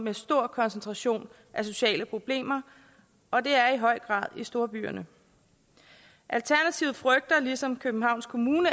en stor koncentration af sociale problemer og det er i høj grad i storbyerne alternativet frygter ligesom københavns kommune